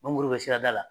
Mangoro bɛ sirada la